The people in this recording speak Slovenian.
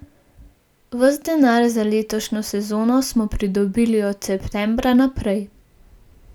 Ves denar za letošnjo sezono smo pridobili od septembra naprej.